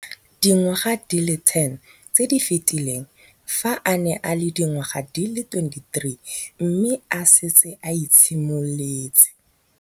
Dingwaga di le 10 tse di fetileng, fa a ne a le dingwaga di le 23 mme a setse a itshimoletse.